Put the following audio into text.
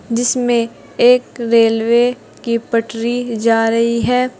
जिसमें एक रेलवे की पटरी जा रही है।